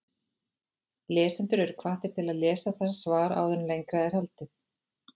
Lesendur eru hvattir til að lesa það svar áður en lengra er haldið.